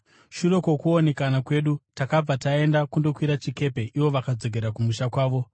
Shure kwokuonekana kwedu, takabva taenda kundokwira chikepe, ivo vakadzokera kumusha kwavo.